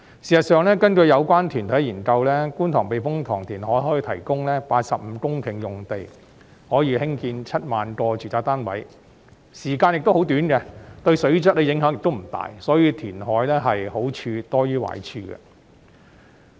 事實上，根據有關團體的研究，觀塘避風塘填海計劃可提供85公頃用地，興建7萬個住宅單位，而工程時間亦十分短，對水質的影響不大，所以填海的好處是多於壞處。